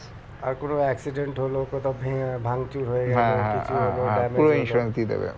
আর কোনো accident হলো কোথাও ভেঙ~ ভাংচুর হয়ে গেলো কিছু হলো